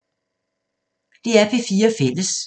DR P4 Fælles